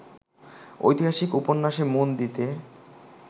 ঐতিহাসিক উপন্যাসে মন দিতে